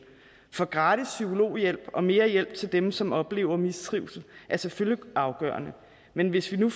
for gratis psykologhjælp og mere hjælp til dem som oplever mistrivsel er selvfølgelig afgørende men hvis vi nu